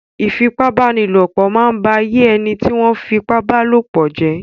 Ìfipábánilòpọ̀ máa ń ba ayé ẹni tí wọ́n fipábálòpọ̀ jẹ́.